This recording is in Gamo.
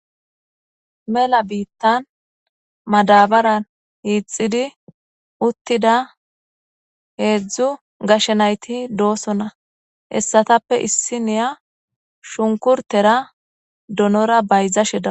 Mela bitan madabare hixidi utida hedzdzu gashe nayiti dosona hesatappe isiniya shunkurtera donora bayizashe deawus